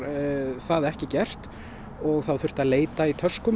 það ekki gert og þá þurfti að leita í töskum